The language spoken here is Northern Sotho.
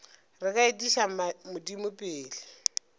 re ka etiša modimo pele